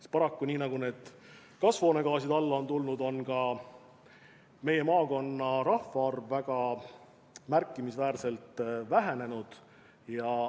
Ja paraku, nii nagu on kasvuhoonegaasid vähenenud, on ka meie maakonna rahvaarv väga märkimisväärselt vähenenud.